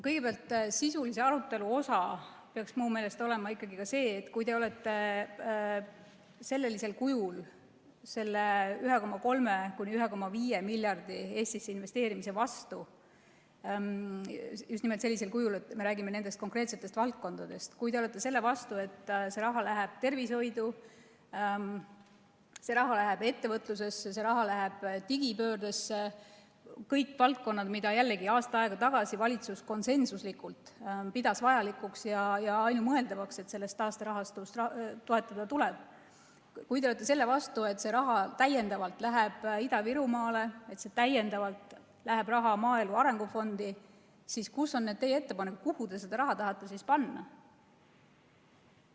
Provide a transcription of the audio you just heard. Kõigepealt, sisulise arutelu osa peaks minu meelest olema ikkagi ka see, et kui te olete sellisel kujul selle 1,3–1,5 miljardi euro Eestisse investeerimise vastu, just nimelt sellisel kujul, et me räägime konkreetsetest valdkondadest, ja kui te olete selle vastu, et see raha läheb tervishoidu, ettevõtlusesse, digipöördesse – jällegi, need kõik on valdkonnad, mida aasta aega tagasi pidas valitsus vajalikuks ja leidis konsensuslikult, et on ainumõeldav neid taasterahastust toetada –, ning kui te olete selle vastu, et see raha läheb Ida-Virumaale ja lisaraha läheb maaelu arengu fondi, siis mis on teie ettepanekud, kuhu te selle raha tahate panna?